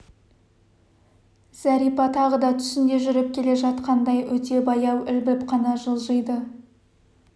зәрипа тағы да түсінде жүріп келе жатқандай өте баяу ілбіп қана жылжиды